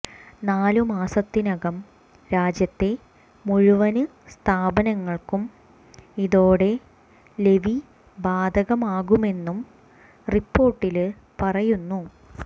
നാലു മാസത്തിനകം രാജ്യത്തെ മുഴുവന് സ്ഥാപനങ്ങള്ക്കും ഇതോടെ ലെവി ബാധകമാകുമെന്നും റിപ്പോര്ട്ടില് പറയുന്നു